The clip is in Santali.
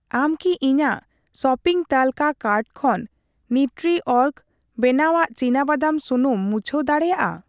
ᱟᱢ ᱠᱤ ᱤᱧᱟᱜ ᱥᱚᱯᱤᱝ ᱛᱟᱹᱞᱠᱟᱹ ᱠᱟᱨᱴ ᱠᱷᱚᱱ ᱱᱤᱣᱴᱨᱤᱚᱨᱜ ᱵᱮᱱᱟᱣᱟᱜ ᱪᱤᱱᱟᱵᱟᱫᱟᱢ ᱥᱩᱱᱩᱢ ᱢᱩᱪᱷᱟᱣ ᱫᱟᱲᱮᱭᱟᱜᱼᱟ ᱾